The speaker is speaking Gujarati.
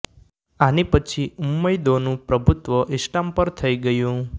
આની પછી ઉમ્મયદોંનું પ્રભુત્વ ઇસ્લામ પર થઈ ગયું